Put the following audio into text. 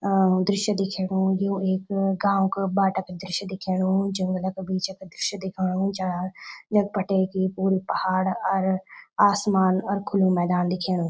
अ दृश्य दिखेणु यु एक गाँव क बाटा क दृश्य दिखेणु जंगल क बीच क दृश्य दिखाणु चा यख बटे की पुरु पहाड़ अर आसमान अर खुलू मैदान दिखेणु।